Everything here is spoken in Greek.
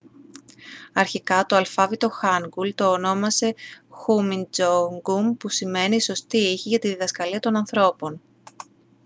αρχικά το αλφάβητο χάνγκουλ το ονόμασε χουμιντζόνγκουμ που σημαίνει «οι σωστοί ήχοι για τη διδασκαλία των ανθρώπων»